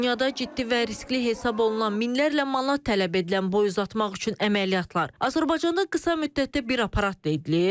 Dünyada ciddi və riskli hesab olunan minlərlə manat tələb edilən boy uzatmaq üçün əməliyyatlar Azərbaycanda qısa müddətdə bir aparatda edilir.